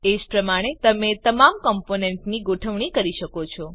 એજ પ્રમાણે તમે તમામ કમ્પોનેન્ટની ગોઠવણી કરી શકો છો